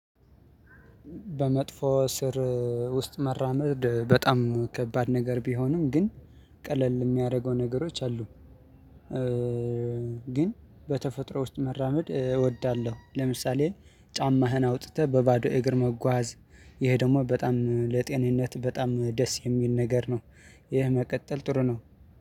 በመጥፎ ስር ውስጥ መራመድ በጣም ከባድ ነገር ቢሆንም ግን ቀለል የሚያደርገው ነገሮች አሉ። ግን በተፈጥሮ ውስጥ መራመድ እወዳለሁ። ለምሳሌ ጫማህን አውጥተህ በባዶ እግር መጓዝ። ይሄ ደግሞ በጣም ለጤንነት በጣም ደስ የሚል ነገር ነው። ይሄ መቀጠል ጥሩ ነው።